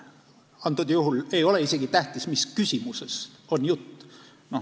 Antud juhul ei ole isegi tähtis, mis küsimusest on jutt.